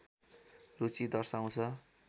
रुचि दर्साउँछ